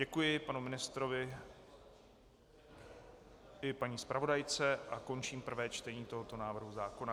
Děkuji panu ministrovi i paní zpravodajce a končím prvé čtení tohoto návrhu zákona.